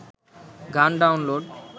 গান ডাউনলোড